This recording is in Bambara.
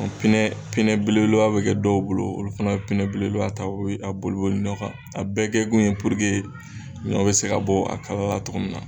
Pinɛ pinɛ belebeleba bɛ kɛ dɔw bolo, olu fana bɛ pinɛ belebeleba ta , o bɛ a boli boli ɲɔ kan a bɛɛ kɛ kun ye puruke ɲɔ bɛ se ka bɔ a kala la cogo min na.